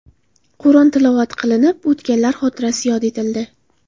Qur’on tilovat qilinib o‘tganlar xotirasi yod etildi.